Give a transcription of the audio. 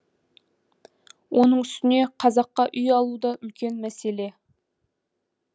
оның үстіне қазаққа үй алу да үлкен мәселе